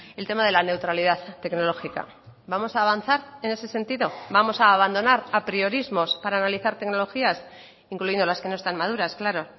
el tema de la neutralidad tecnológica vamos a avanzar en ese sentido vamos a abandonar apriorismos para analizar tecnologías incluyendo las que no están maduras claro